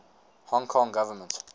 hong kong government